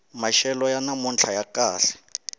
maxelo ya namuntlha ya kahle